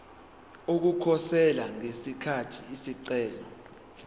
ukukhosela ngesikhathi isicelo